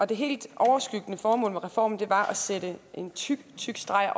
det helt overskyggende formål med reformen var at sætte en tyk tyk streg